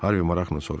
Harvi maraqla soruştu.